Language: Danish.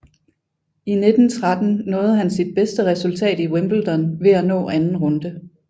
I 1913 nåede han sit bedste resultat i Wimbledon ved at nå anden runde